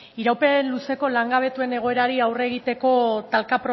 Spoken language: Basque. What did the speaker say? iraupen luzeko langabetuen egoerari aurre egiteko talka